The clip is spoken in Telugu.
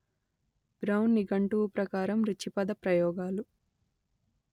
బ్రౌన్ నిఘంటువు ప్రకారం రుచి పదప్రయోగాలు